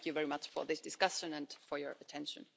Thank you very much for this discussion and for your attention.